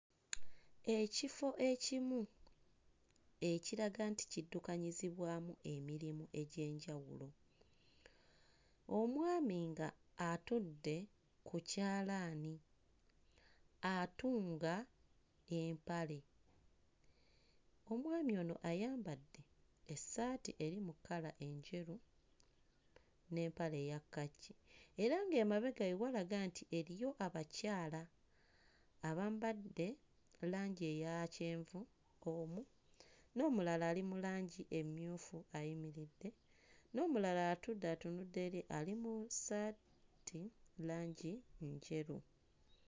Ekifo ekimu ekiraga nti kiddukanyizibwamu emirimu egy'enjawulo, omwami ng'atudde ku kyalaani atunga empale. Omwami ono ayambadde essaati eri mu kkala enjeru n'empale eya kkaki era ng'emabega we walaga nti eriyo abakyala abambadde langi eya kyenvu omu, n'omulala ali mu langi emmyufu ayimiridde, n'omulala atudde atunudde eri ali mu ssaati langi njeru.